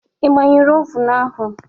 Ị gbañụrụ ovun ahụ?